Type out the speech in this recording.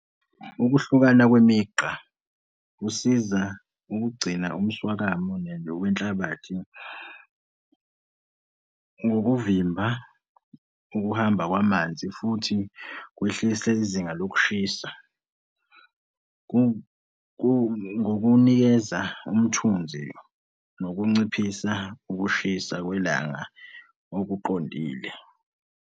Ukuhlukana kwemigqa kusiza ukugcina umswakamo wenhlabathi ngokuvimba ukuhamba kwamanzi futhi kwehlise izinga lokushisa, ngokunikeza umthunzi nokunciphisa ukushisa kwelanga okuqondile.